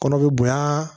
Kɔnɔ be bonya